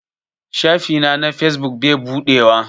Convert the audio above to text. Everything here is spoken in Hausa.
Shafi na na fesbuk bai buɗewa.